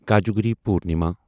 Kojagiri Purnima